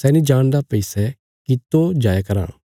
सै नीं जाणदा भई सै कितो जाया राँ